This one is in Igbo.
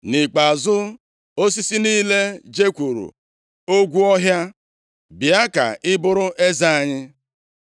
“Nʼikpeazụ, osisi niile jekwuuru ogwu ọhịa, ‘Bịa ka ị bụrụ eze anyị.’